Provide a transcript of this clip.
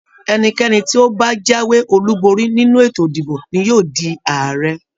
Ẹnikẹ́ni tí ó bá jàwé olú bori nínú ètò ìdìbò ní yóò dii Ààrẹ.